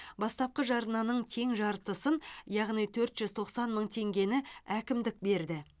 бастапқы жарнаның тең жартысын яғни төрт жүз тоқсан мың теңгені әкімдік берді